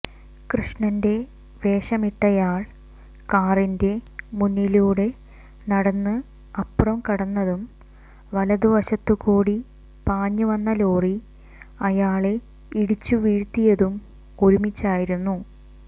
കൃഷ്ണന്റെ വേഷമിട്ടയാൾ കാറിന്റെ മുന്നിലൂടെ നടന്ന് അപ്പുറം കടന്നതും വലതുവശത്തുകൂടി പാഞ്ഞു വന്ന ലോറി അയാളെ ഇടിച്ചു വീഴ്ത്തിയതും ഒരുമിച്ചായിരുന്നു